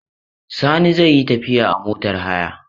Sani zai yi tafiya a motar haya.